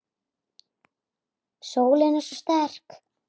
Sólin er svo sterk.